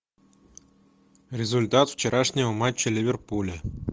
результат вчерашнего матча ливерпуля